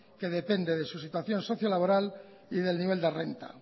que depende de su situación sociolaboral y del nivel de renta